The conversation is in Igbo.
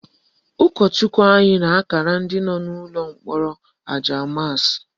Ụkọchukwu anyị na-akara ndị nọ n'ụlọ mkpọrọ aja maasị